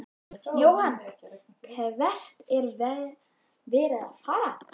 Jóhann: Hvert er verið að fara?